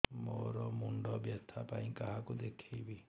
ମୋର ମୁଣ୍ଡ ବ୍ୟଥା ପାଇଁ କାହାକୁ ଦେଖେଇବି